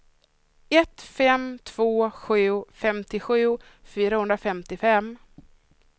ett fem två sju femtiosju fyrahundrafemtiofem